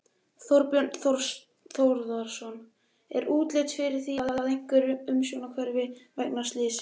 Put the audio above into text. Þorbjörn Þórðarson: Er útlit fyrir að það verði eitthvað umhverfistjón vegna slyssins?